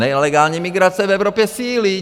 Nelegální migrace v Evropě sílí.